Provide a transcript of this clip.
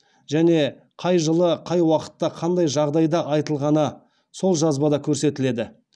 және қай жылы қай уақытта қандай жағдайда айтылғаны сол жазбада көрсетіледі